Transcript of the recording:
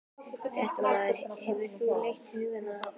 Fréttamaður: Hefur þú leitt hugann að þjóðstjórn?